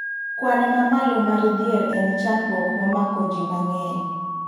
Kwan mamalo mar dhier en chandruokmomako ji mang'eny